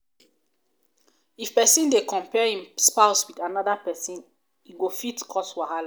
if pesin dey compare em spouse with anoda pesin e fit cos wahala